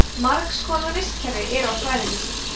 margs konar vistkerfi eru á svæðinu